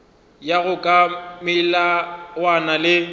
go ya ka melawana le